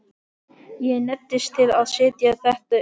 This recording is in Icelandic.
Ég neyddist til að setja þetta upp.